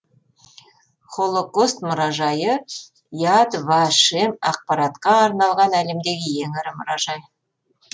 холокост мұражайы яд ва шем ақпаратқа арналған әлемдегі ең ірі мұражай